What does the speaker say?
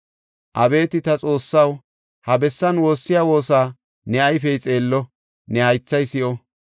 “Abeeti ta Xoossaw, ha bessan woossiya woosa ne ayfey xeello; ne haythay si7o.